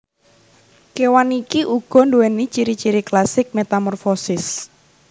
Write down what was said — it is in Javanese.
Kewan iki uga duwéni ciri ciri klasik metamorfosis